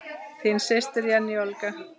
Þín systir, Jenný Olga.